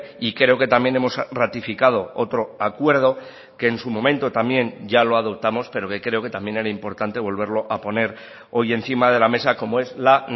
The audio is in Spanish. y creo que también hemos ratificado otro acuerdo que en su momento también ya lo adoptamos pero que creo que también era importante volverlo a poner hoy encima de la mesa como es la